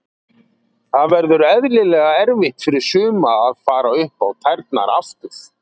Það verður eðlilega erfitt fyrir suma að fara upp á tærnar aftur.